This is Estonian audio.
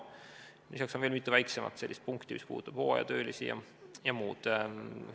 Lisaks on veel mitu väiksemat punkti, mis puudutavad hooajatöölisi ja muud.